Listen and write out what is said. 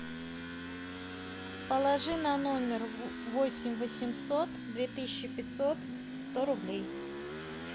положи на номер восемь восемьсот две тысячи пятьсот сто рублей